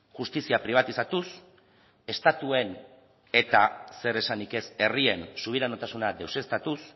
justizia pribatizatuz estatuen eta zer esanik ez herrien subiranotasuna deuseztatuz